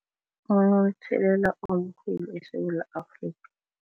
Omkhulu eSewula Afrika.